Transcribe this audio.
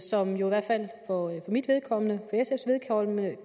som jo i hvert fald for mit vedkommende